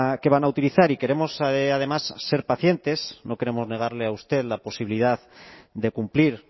que van a utilizar y queremos además ser pacientes no queremos negarle a usted la posibilidad de cumplir